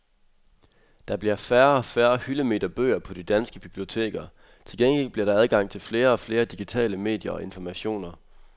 Der bliver færre og færre hyldemeter bøger på de danske biblioteker, til gengæld bliver der adgang til flere og flere digitale medier og informationer.